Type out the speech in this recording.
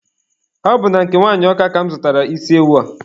Ọ bụ na nke nwanyị Ọka ka mụ zụtara isi ewu a.